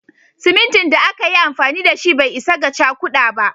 Simintin da aka yi amfani da shi bai isa ga cakuda ba